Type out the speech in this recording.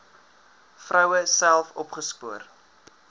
vroue self opgespoor